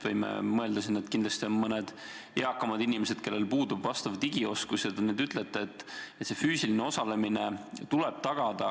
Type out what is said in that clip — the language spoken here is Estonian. Võime mõelda, et kindlasti on mõned eakamad inimesed, kellel puudub vajalik digioskus, ja te ütlete, et füüsiline osalemine tuleb tagada.